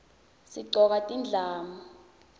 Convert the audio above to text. sigcoka tindlamu